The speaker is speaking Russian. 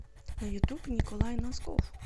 на ютуб николай носков